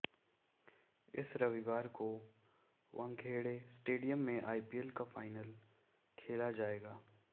इस रविवार को वानखेड़े स्टेडियम में आईपीएल का फाइनल खेला जाएगा